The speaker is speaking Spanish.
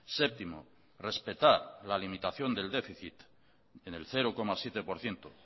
séptimo respetar la limitación del déficit en el cero coma siete por ciento